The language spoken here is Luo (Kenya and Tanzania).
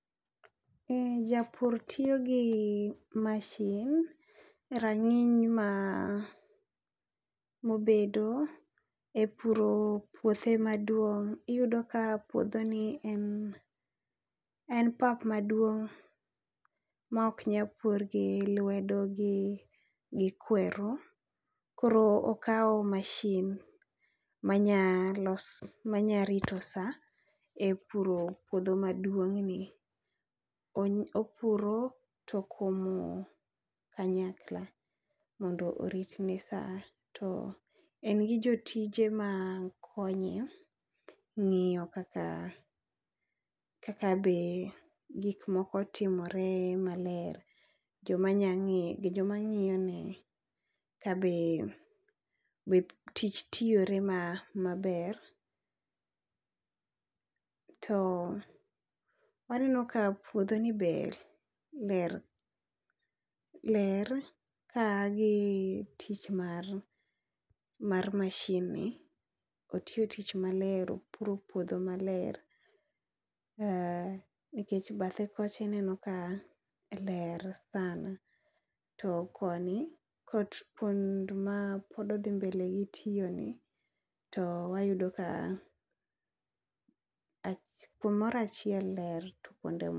E japur tiyo gi mashin rang'iny ma mobedo e puro puothe maduong'. Iyudo ka puodho ni en, en pap maduong' ma ok nya pur gi lwedo gi, gi kweru. Koro okawo mashin manya loso manya rito sa e puro puodho maduong' ni., opuro to okomo kanyakla mondo oritne sa. To en gi jotije ma konye ng'iyo kaka, kaka be gik moko timore maler. Joma nya ng'igi joma ng'iyo ne kabe, be tich tiyore ma maber. To aneno ka puodho ni be ler, ler ka gi tich mar mar mashin ni, otiyo tich maler opuro puodho maler. Nikech bathe kocha ineno ka ler sana, to koni, kot kuond ma pod odhi mbele gi tiyo ni to wayudo ka kumorachiel ler to kuonde mo.